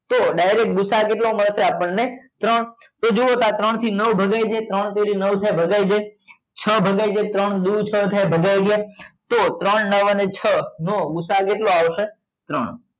તો direct ગુસા કેટલો મળશે આપણને ત્રણ તો જુઓ ત્યાં ત્રણ થી નવ ભગાય જાય ત્રણ તરી નવ થાય ભગાય જાય છ ભગાય જાય ત્રણ દૂ છ થાય ભાગ્ય જાય તો ત્રણ નવ અને છ નો ગુસા કેટલો આવશે